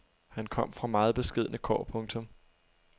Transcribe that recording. Han kom fra meget beskedne kår. punktum